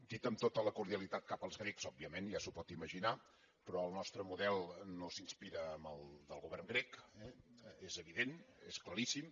dit amb tota la cordialitat cap als grecs òbviament ja s’ho pot ima·ginar però el nostre model no s’inspira en el del go·vern grec és evident és claríssim